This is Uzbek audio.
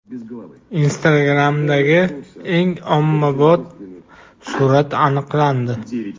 Instagram’dagi eng ommabop surat aniqlandi.